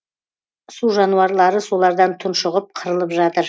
су жануарлары солардан тұншығып қырылып жатыр